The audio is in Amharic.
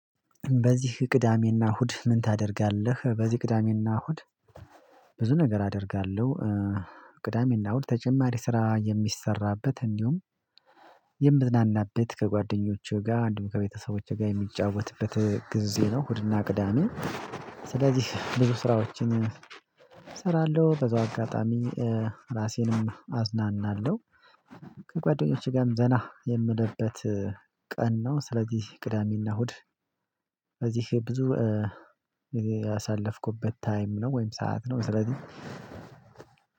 በዚህ ቅዳሜና እሁድ ምን ታደርጋለህ? በዚህ ቅዳሜና እሁድ ብዙ ነገር አደርጋለሁ። ቅዳሜና እሁድ ተጀማሪ ስራ የሚሰራበት እንዲሁም የምዝናናበት ከጓደኞቹ ጋር አንድም ከቤተሰቦቼ ጋር የሚጫወትበት ጊዜ ነው። ሁድና ቅዳሜ ስለዚህ ብዙ ስራዎችን እሰራለሁ በዛው አጋጣሚ ራሴንም አዝናናለሁ። ጋር ዘና የምልበት ቀን ነው። ስለዚህ ቅዳሜና እሁድ እዚህ ብዙ ያሳለፍኩበት ታይም ነው ወይም ሰዓት ነው። ስለዚህ